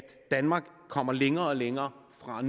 danmark kommer længere og længere fra at